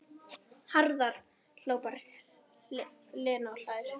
Hraðar, hrópar Lena og hlær.